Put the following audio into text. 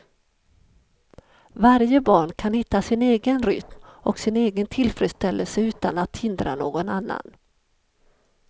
Varje barn kan hitta sin egen rytm och sin egen tillfredställelse utan att hindra någon annan.